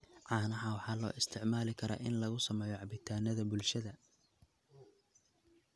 Caanaha waxaa loo isticmaali karaa in lagu sameeyo cabitaannada bulshada.